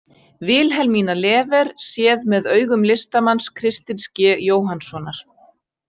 Vilhelmína Lever séð með augum listamanns Kristins G Jóhannssonar.